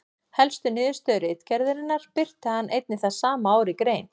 Helstu niðurstöðu ritgerðarinnar birti hann einnig það sama ár í grein.